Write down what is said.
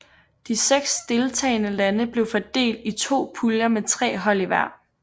De seks deltagende lande blev fordelt i to puljer med tre hold i hver